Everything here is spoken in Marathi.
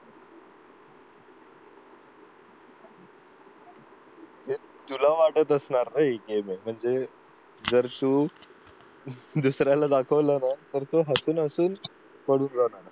तुला वाटत असणार रे हे बघ म्हणजे जर तू दुसऱ्याला दाखवलं ना तर हसून हसून पळून जाणार